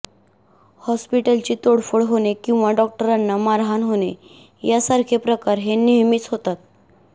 हॉस्पिटलची तोडफोड होणे किंवा डॉक्टरांना मारहाण होणे यासारखे प्रकार हे नेहमीच होतात